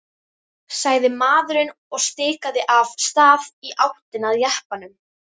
sagði maðurinn og stikaði af stað í áttina að jeppanum.